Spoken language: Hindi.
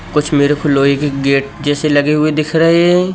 कुछ मेरे को लोहे के गेट जैसे लगे हुए दिख रहे है।